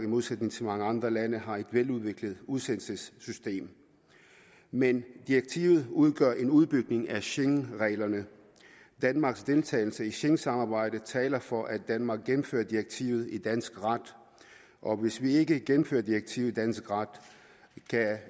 modsætning til mange andre lande har et veludviklet udsendelsessystem men direktivet udgør en udbygning af schengenreglerne og danmarks deltagelse i schengensamarbejdet taler for at danmark gennemfører direktivet i dansk ret og hvis vi ikke gennemfører direktivet i dansk ret kan